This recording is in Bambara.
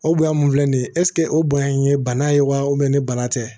O bonya mun filɛ nin ye ɛsike o bonya in ye bana ye wa ni bana tɛ